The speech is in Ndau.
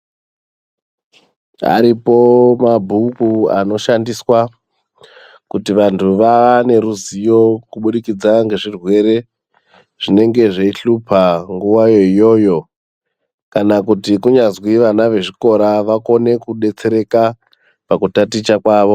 Aripo mabhuku anoshandiswa kuti vantu vaneruzivo kubudikidza ngezvirwere zvinenge zveihlupa nguwayo iyoyo kana kuti kunyazwi vana vezvikora vakone kudetsereka pakutaticha kwavo.